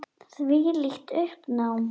Þvílíkt uppnám.